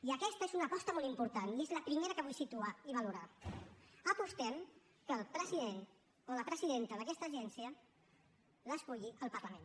i aquesta és una aposta molt important i és la primera que vull situar i valorar apostem que el president o la presidenta d’aquesta agència l’esculli el parlament